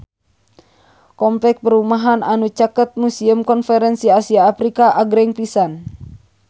Kompleks perumahan anu caket Museum Konferensi Asia Afrika agreng pisan